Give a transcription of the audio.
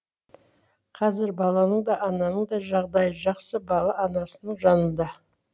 қазір баланың да ананың да жағдайы жақсы бала анасының жанында